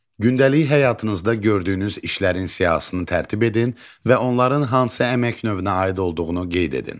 Gündəlik həyatınızda gördüyünüz işlərin siyahısını tərtib edin və onların hansı əmək növünə aid olduğunu qeyd edin.